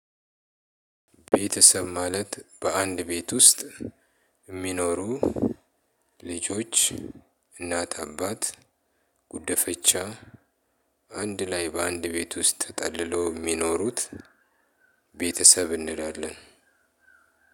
ቤተሰብ ማለት በአንድ ቤት ውስጥ የሚኖሩ ልጆች፣ እናት፣ አባት፣ ጉዲፈቻ አንድ ላይ በአንድ ቤት ውስጥ ተጠልለው የሚኖሩት ቤተሰብ እንላለን።